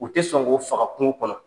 U tɛ sɔn k'o faga kungo kɔnɔ.